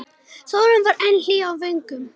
Sólin var enn hlý á vöngum.